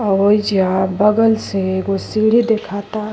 येईजा बगल से एगो सीढ़ी दिखाता।